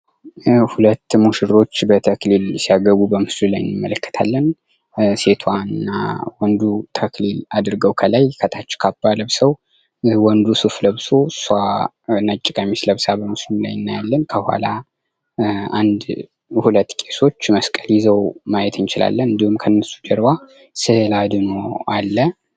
ሁለት ሙሽሮች በተክሊል ሲያገቡ በምስሉ ላይ እንመለከታለን። ሴቷ እና ወንዱ ተክሊል አድርገዉ ከላይ ከታች ካባ ለብሰዉ ወንዱ ሱፍ ለብሶ እሷ ነጭ ቀሚስ ለብሳ ከምስሉ ላይ እናያለን። ከኋላ ሁለት ሁለት ቄሶች መስቀል ይዘዉ ማየት እንችላለን። እንዲሁም ከእነሱ ጀርባ ስዕለ አድኅኖ አለ።